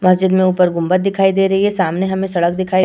मस्जिद में ऊपर गुंबद दिखाई दे रही है। सामने हमें सड़क दिखाई --